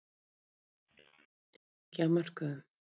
Olli þetta miklum titringi á mörkuðum